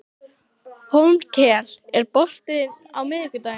Hólmkell, er bolti á miðvikudaginn?